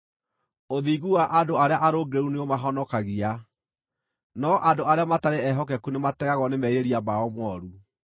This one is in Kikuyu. Ũthingu wa andũ arĩa arũngĩrĩru nĩũmahonokagia, no andũ arĩa matarĩ ehokeku nĩmategagwo nĩ merirĩria mao mooru.